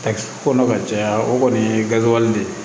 Kɔnɔ ka caya o kɔni ye gaziwali de ye